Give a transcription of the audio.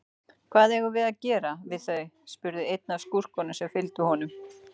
Hvað eigum við að gera við þau, spurði einn af skúrkunum sem fylgdu honum.